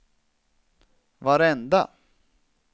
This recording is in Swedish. varenda